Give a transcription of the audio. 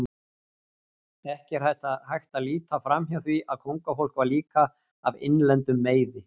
Ekki er hægt að líta framhjá því að kóngafólk var líka af innlendum meiði.